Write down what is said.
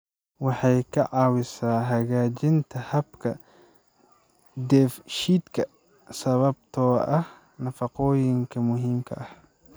Waxay ka caawisaa hagaajinta habka dheefshiidka sababtoo ah nafaqooyinka muhiimka ah.